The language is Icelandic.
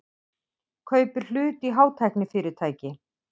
Kaupir hlut í hátæknifyrirtæki